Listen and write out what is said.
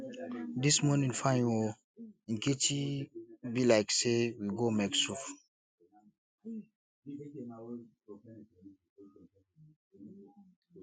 dis morning fine oo nkechi e be like say we go make soup